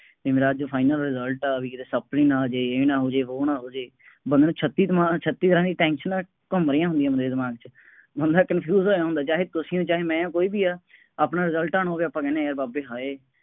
ਬਈ ਮੇਰਾ ਅੱਜ final result ਹੈ, ਬਈ ਕਿਤੇ supply ਨਾ ਆ ਜਾਏ, ਇਹ ਨਾ ਹੋ ਜਾਏ, ਵੋਹ ਨਾ ਹੋ ਜਾਏ, ਬੰਦੇ ਨੂੰ ਛੱਤੀ ਦਿਮਾਗ, ਛੱਤੀ ਤਰ੍ਹਾਂ ਦੀਆਂ ਟੈਨਸ਼ਨਾਂ ਘੁੰਮ ਰਹੀਆ ਹੁੰਦੀਆਂ ਬੰਦੇ ਦੇ ਦਿਮਾਗ ਚ, ਬੰਦਾ confuse ਹੋਇਆ ਹੁੰਦਾ, ਚਾਹੇ ਤੁਸੀਂ ਹੋ, ਚਾਹੇ ਮੈਂ ਹਾਂ, ਕੋਈ ਵੀ ਆ, ਆਪਣਾ result ਆਉਣ ਹੋ ਗਿਆ, ਆਪਾਂ ਕਹਿੰਦੇ ਹਾਂ ਯਾਰ ਬਾਬੇ ਹਾਏ